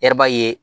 Yɛrɛba ye